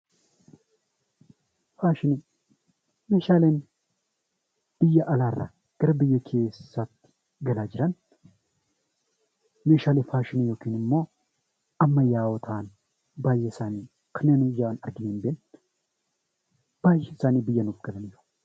Faashiniin meeshaalee biyya alaarraa gara biyya keessaatti galan meeshaalee faashinii ammayyaa ta'an baay'ee isaanii kanneen biyya alaarraa biyya keessa galanidha.